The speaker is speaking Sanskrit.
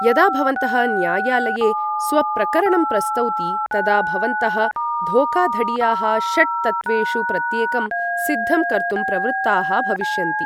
यदा भवन्तः न्यायालये स्वप्रकरणं प्रस्तौति तदा भवन्तः धोखाधड़ीयाः षट् तत्त्वेषु प्रत्येकं सिद्धं कर्तुं प्रवृत्ताः भविष्यन्ति ।